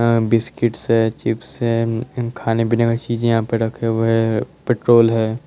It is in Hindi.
अ बिस्किट्स है चिप्स है खाने पिने का चीज़े है यहाँ पे रखे हुए है पेट्रोल है।